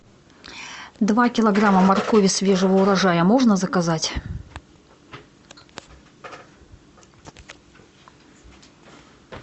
два килограмма моркови свежего урожая можно заказать